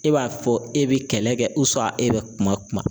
E b'a fɔ e bɛ kɛlɛ kɛ e bɛ kuma kuma